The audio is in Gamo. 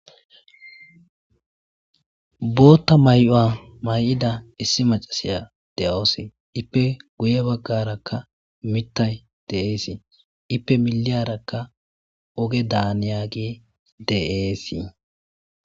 Bootta may'o'a may7ida issi macasiya de7oos ippe guye baggarakka mittay deeesii ippe miliyarakka oge daaniya gi deeesii